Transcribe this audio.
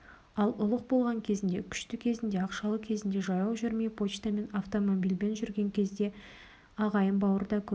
ал ұлық болған кезінде күшті кезінде ақшалы кезінде жаяу жүрмей почтамен автомобильмен жүрген кезінде ағайын бауыр да көп